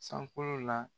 Sankolo la